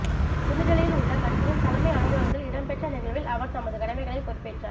புதுடில்லியில் உள்ள கட்சியின் தலைமை அலுவலத்தில் இடம்பெற்ற நிகழ்வில் அவர் தமது கடமைகளை பொறுப்பேற்றார்